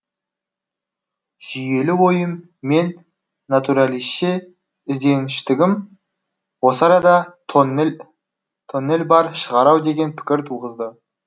жүйелі ойым мен натуралисше ізденгіштігім осы арада тоннель бар шығар ау деген пікір туғызды